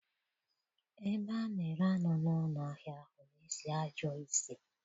Ebe a na-ere anụ n'ụlọ ahịa ahụ na-esi ọjọọ ísì.